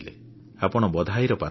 ଆପଣ ଧନ୍ୟବାଦର ପାତ୍ର